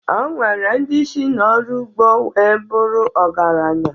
O nwere ndị si n'ọrụ ugbo wee bụrụ ọgaranya